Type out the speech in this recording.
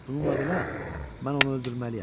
Bununla belə, mən onu öldürməliyəm.